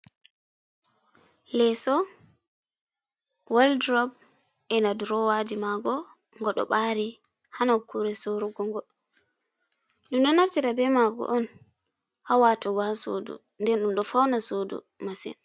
Leso wol durob ena durowaji mako. Ngo ɗo bari ha na kure sorugogo. ɗum ɗo naftita be mako on ha watogo ha suɗu nden ɗum ɗo fauna sodu masin.